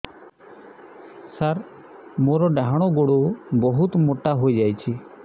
ସାର ମୋର ଡାହାଣ ଗୋଡୋ ବହୁତ ମୋଟା ହେଇଯାଇଛି